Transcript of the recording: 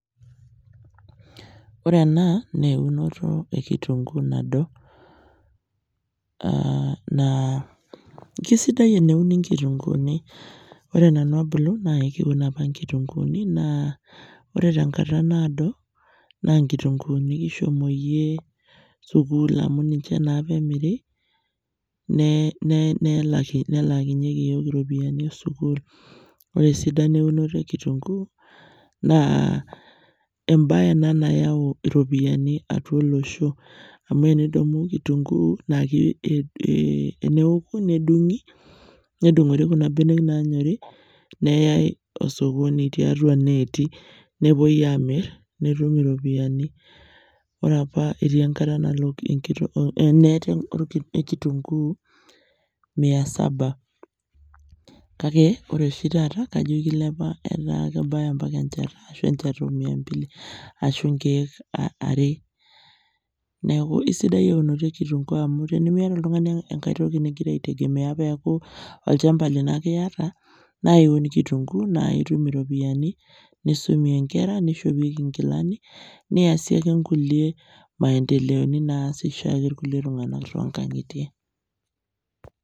Wore ena naa eunoto e kirrunguu nado. Naa kesidai eneuni inkirunguuni, wore nanu abulu, naa keuni apa inkirunguuni naa wore tenkata naado, naa inkirunguuni kishomoyie sukuul amu ninche naapa emiri, nelaakinyieki iyiok iropiyani esukuul. Wore esidano eunoto ekirrunkuu, naa embaye ena nayau iropiyani atua olosho. Amu tenidamu kitunguu naa teneoku nedungi, nedungori kuna benek naanyori. Neyai osokoni tiatua ineeti aamir netumu iropiyani. Wore apa etii enkata nalo enet ekitunguu mia saba. Kake wore oshi taata, kajo kilepa etaa kebaya ambaka enchata ashu enchata omia mbili, ashu inkiek are. Neeku aisidai eunoto ekirrunkuu amu tenimiata oltungani enkae toki nikira aitegemea peeku olchamba lino ake iata, naa iun kirunguu naa itum iropiyani, nisumie inkera, nishopieki inkilani, niasie ake kulie maendeleo naas oshiake irkulie tunganak toonkangitie.